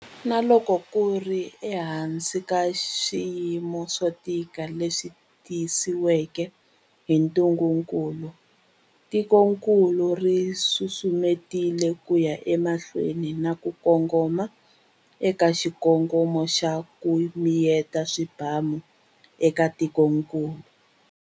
Na loko ku ri ehansi ka swiyimo swo tika leswi tisiweke hi ntungukulu, tikokulu ri susumetile ku ya emahlweni na ku kongoma eka xikongomelo xa 'ku miyeta swibamu' eka tikokulu.